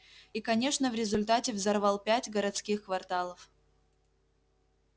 и конечно в результате взорвал пять городских кварталов